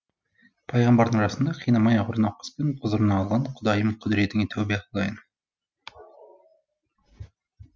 пайғамбардың жасында қинамай ауыр науқаспен құзырына алған құдайым құдіретіңе тәубә қылайын